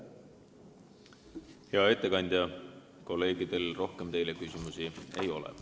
Hea ettekandja, kolleegidel teile rohkem küsimusi ei ole.